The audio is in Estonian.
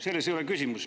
Selles ei ole küsimus.